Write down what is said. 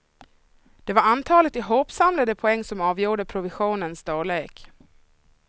Det var antalet ihopsamlade poäng som avgjorde provisionens storlek.